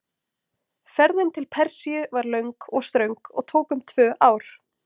Ferðin til Persíu var löng og ströng og tók um tvö ár.